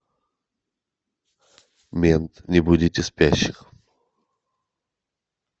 мент не будите спящих